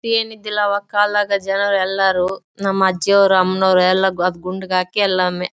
ಏನ್ ಇದ್ದಿಲ್ಲಾ ಆವಾಗ್ ಕಾಲದಗ್ ಜನರು ಎಲ್ಲಾರು ನಮ್ಮ ಅಜ್ಜಿಯರ್ ಅಮ್ಮನವರ್ ಎಲ್ಲಾಅದು ಗುಂಡ ಹಾಕಿ ಎಲ್ಲಾಒಮ್ಮಿ --